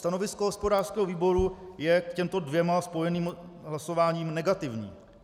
Stanovisko hospodářského výboru je k těmto dvěma spojeným hlasováním negativní.